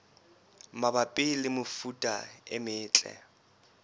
mabapi le mefuta e metle